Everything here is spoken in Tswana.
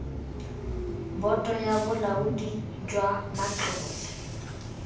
boto ya bolaodi jwa matlole